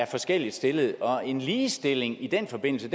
forskelligt stillet og en ligestilling i den forbindelse